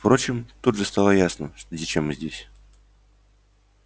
впрочем тут же стало ясно зачем мы здесь